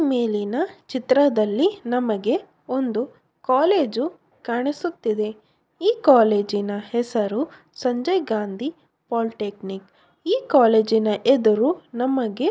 ಈ ಮೇಲಿನ ಚಿತ್ರದಲ್ಲಿ ನಮಗೆ ಒಂದು ಕಾಲೇಜು ಕಾಣಿಸುತ್ತಿದೆ ಈ ಕಾಲೇಜಿನ ಹೆಸರು ಸಂಜಯ್ ಗಾಂಧಿ ಪೋಲಿಟೆಕ್ನಿಕ್ ಈ ಕಾಲೇಜಿನ ಎದುರು ನಮಗೆ --